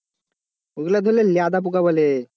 ওগুলো লেদা বোকা বলে,